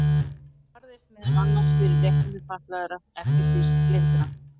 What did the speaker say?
Hún barðist meðal annars fyrir réttindum fatlaðra, ekki síst blindra.